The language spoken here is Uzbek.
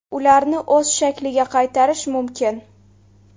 Ularni o‘z shakliga qaytarish mumkin.